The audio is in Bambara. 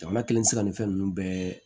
Jamana kɛlen tɛ se ka nin fɛn ninnu bɛɛ